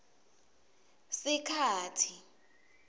sikhatsi